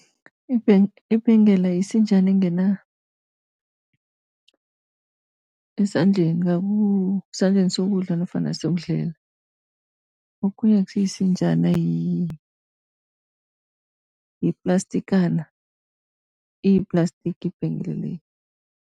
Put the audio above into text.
Ibhengela isinjana engena esandleni esandleni sokudla nofana sokudlela. Okhunye akusiyisinjana yiplastikana, iyiplastiki ibhengela le.